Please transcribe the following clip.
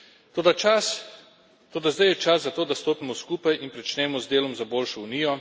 Toda zdaj je čas za to, da stopimo skupaj in pričnemo z delom za boljšo Unijo.